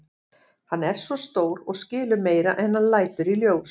Hann er svo stór og skilur meira en hann lætur í ljós.